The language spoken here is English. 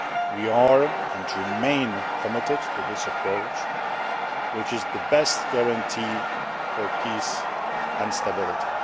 We are, and remain, committed to this approach, which is the best guarantee for peace and stability.